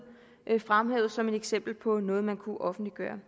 fremhævet som eksempler på noget man kunne offentliggøre